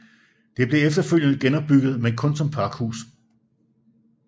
Det blev efterfølgende genopbygget men kun som pakhus